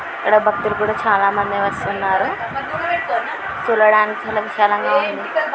ఈడ భక్తులు కూడా చాలా మంది వస్తున్నారు. చూడడానికి చాలా విశాలముగా ఉంది.